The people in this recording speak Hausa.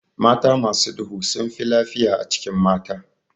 Mata masu duhu sunfi lafiya a cikin mata.